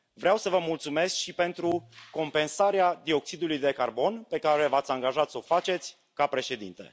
Vreau să vă mulțumesc și pentru compensarea dioxidului de carbon pe care v ați angajat să o faceți, ca președinte.